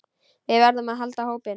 Við verðum að halda hópinn!